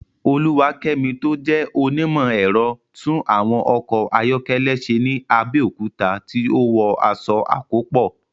Oluwakemi tó jẹ́ onímọ̀ ẹ̀rọ, tún àwọn ọkọ̀ ayọ́kẹ́lẹ́ ṣe ní Abẹ́òkúta tí ó wọ aṣọ àkópọ̀.